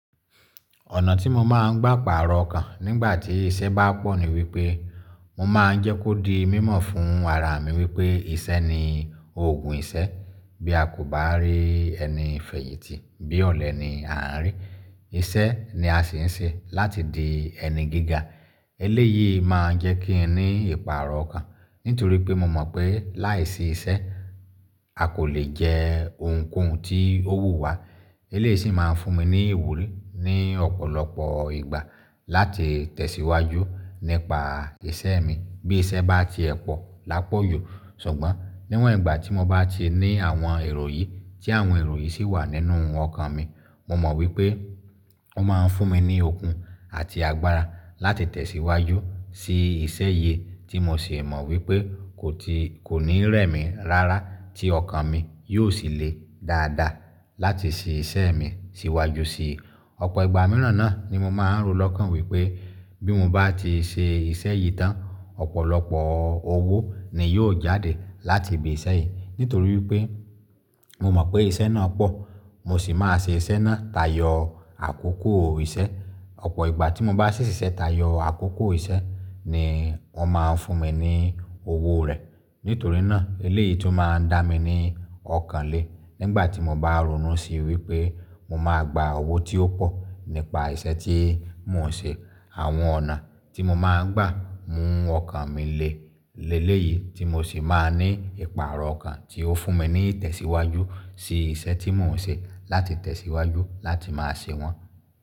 Ọ̀nà tí mo máa ń gbà pàrọ̀ ọkàn nígbà tí iṣẹ́ bá pọ̀ ni wípé mo máa ń jẹ́ kó di mímọ̀ fún ara mi wípé iṣẹ́ ni òògùn iṣẹ́. Bí a kò bá rí ẹni fẹ̀yìntì bí ọ̀lẹ ni à ń rí, iṣẹ́ ni a sì ń ṣe láti di ẹni gíga. Eléyìí máa ń jẹ́ kí n ní ìpàrọ̀ ọkàn nítorí pé mo mọ̀ pé láìsí iṣẹ́ a kò le jẹ ohunkóhun tí ó wù wá. Eléyìí sì máa ń fún mi ní ìwúrí ní ọ̀pọ̀lọpọ̀ ìgbà láti tẹ̀síwájú nípa iṣẹ́ mi. Bí iṣẹ́ bá ti ẹ pọ̀ lápọ̀ju, ṣùgbọ́n níwòn ìgbà tí mo bá ti ní àwọn èrò yìí tí àwọn èrò yìí sì wà nínú ọkàn mi, mo mọ̀ wípé ó máa ń fún mi ní okun àti agbára láti tẹ̀síwájú sí iṣẹ́ yìí tí mo sì mọ̀ wípé kò ti, kò ní rẹ̀ mi rárá tí ọkàn mi yóò sì le dáadáa láti ṣe iṣẹ́ mi síwájú sí i. Ọ̀pọ̀ ìgbà mìíràn náà ni mo máa ń ro lọ́kàn wípé bí mo bá ti ṣe iṣẹ́ yìí tán, ọ̀pọ̀lọpọ̀ owó ni yóò jáde láti ibi iṣẹ́ yìí nítorí wípé mo mọ̀ pé iṣẹ́ náà pọ̀ mo sì máa ṣe iṣẹ́ náà tayọ àkókò iṣẹ́. Ọ̀pọ̀ ìgbà tí mo bá ṣì ṣi iṣẹ́ tayọ àkókò iṣẹ́ ni wón máa ń fún mi ní owó rẹ̀. Nítorí náà eléyìí tun máa ń dá mi ní ọkàn lé nígbà tí mo bá ronú sí wípé mo máa gba owó tí ó pọ̀ nípa iṣẹ́ tí mò ń ṣe. Àwọn ọ̀nà tí mo máa ń gbà mú ọkàn mi le léleyìí tí mo sì máa ní ìpàrọ̀ ọkàn tí ó fún mi ní ìtẹ̀síwájú sí iṣẹ́ tí mò ń ṣe láti tẹ̀síwájú láti máa ṣe wọ́n.